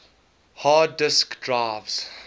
hard disk drives